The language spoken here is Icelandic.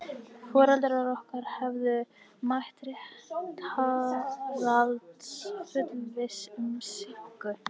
Foreldrar okkar höfðu mætt til réttarhaldsins fullviss um sýknu.